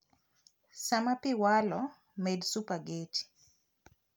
Saa ma pii walo, med supageti